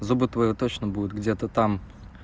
зубы твои точно будут где-то там